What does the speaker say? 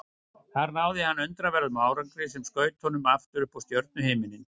Þar náði hann undraverðum árangri sem skaut honum aftur upp á stjörnuhimininn.